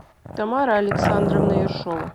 тамара александровна ершова